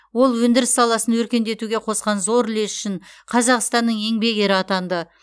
ол өндіріс саласын өркендетуге қосқан зор үлесі үшін қазақстанның еңбек ері атанды